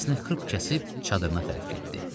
Səsini xırp kəsib çadırına tərəf getdi.